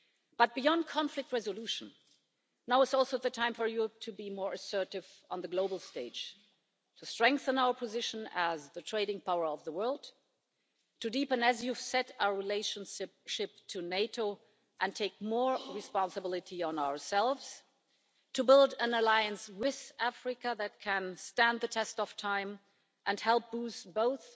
But beyond conflict resolution, now is also the time for Europe to be more assertive on the global stage, to strengthen our position as the trading power of the world, to deepen, as you've said, our relationship with NATO and to take on more responsibility ourselves, and to build an alliance with Africa that can stand the test of time and help boost both